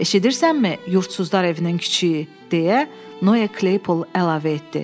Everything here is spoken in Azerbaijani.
"Eşidirsənmi, yurdsuzlar evinin kiçiyi?" - deyə Noe Klaypol əlavə etdi.